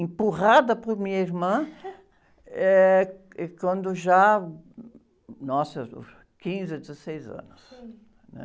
empurrada por minha irmã, eh, êh, quando já, nossa, quinze ou dezesseis anos, né?